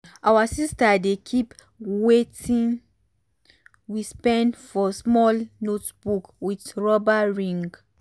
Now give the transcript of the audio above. our sister dey keep watin we spend for small notebook with rubber ring.